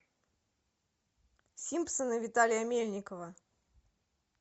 симпсоны виталия мельникова